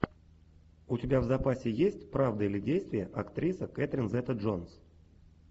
у тебя в запасе есть правда или действие актриса кэтрин зета джонс